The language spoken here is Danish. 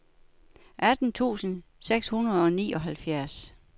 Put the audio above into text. atten tusind seks hundrede og nioghalvfjerds